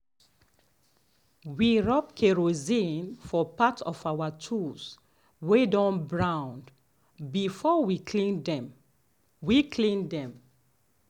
we rub kerosine for part of our tools way don brown before we clean them. we clean them.